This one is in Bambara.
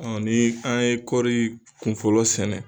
Ɔ ni an ye kɔri kunfɔlɔ sɛnɛ.